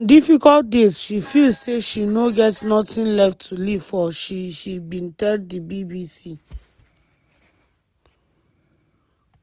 on difficult days she feel say she no get nothing left to live for she she bin tell di bbc.